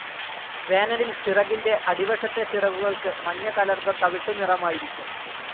വേനലിൽ ചിറകിന്റെ അടിവശത്തെ ചിറകുകൾക്ക് മഞ്ഞകലർന്ന തവിട്ടു നിറമായിരിക്കും.